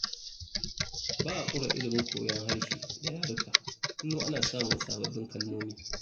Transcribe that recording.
Ba a ƙure ilimin koyon harshe da yaruka kullum ana samun sababbin kalmomi